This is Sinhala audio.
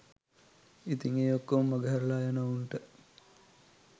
ඉතින් ඒ ඔක්කොම මඟ හැරලා යන ඔවුන්ට